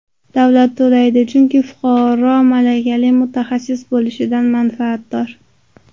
Davlat to‘laydi, chunki fuqaro malakali mutaxassis bo‘lishidan manfaatdor.